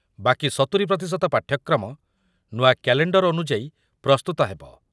ବାକି ସତୁରୀ ପ୍ରତିଶତ ପାଠ୍ୟକ୍ରମ ନୂଆ କ୍ୟାଲେଣ୍ଡର ଅନୁଯାୟୀ ପ୍ରସ୍ତୁତ ହେବ।